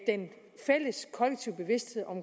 den kollektive bevidsthed om